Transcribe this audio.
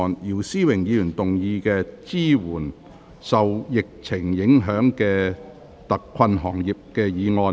姚思榮議員動議的"支援受疫情影響的特困行業"議案。